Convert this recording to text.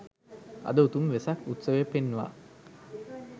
අද උතුම් වෙසක් උත්සවය පෙන්වා